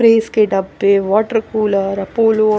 press के डब्बे water cooler Apollo--